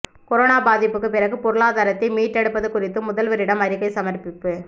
corona பாதிப்புக்கு பிறகு பொருளாதாரத்தை மீட்டெடுப்பது குறித்து முதல்வரிடம் அறிக்கை சமர்ப்பிப்பு